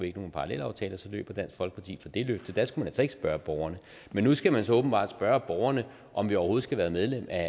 ikke nogen parallelaftale og så løb dansk folkeparti fra det løfte der skulle man altså ikke spørge borgerne men nu skal man så åbenbart spørge borgerne om vi overhovedet skal være medlem af